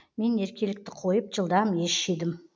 мен еркелікті қойып жылдам ес жидым